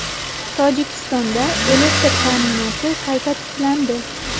Tojikistonda elektr ta’minoti qayta tiklandi.